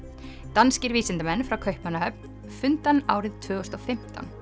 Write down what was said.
danskir vísindamenn frá Kaupmannahöfn fundu hann árið tvö þúsund og fimmtán